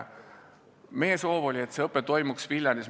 Meie soov oli, et see õpe toimuks Viljandis.